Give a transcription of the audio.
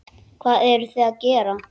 Hvað eruð þið að gera?